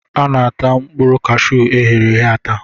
A na-ata mkpụrụ cashuu eghereghe ata.